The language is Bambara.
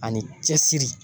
Ani cɛsiri